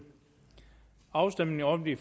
afstemning om de